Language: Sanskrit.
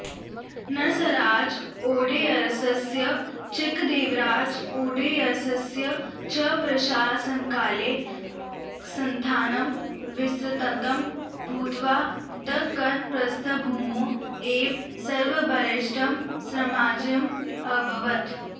नरसराजओडेयरस्य चिक्कदेवराजओडेयरस्य च प्रशासनकाले संस्थानं विस्तृतं भूत्वा दक्खनप्रस्थभूमौ एव सर्वबलिष्टं साम्राज्यम् अभवत्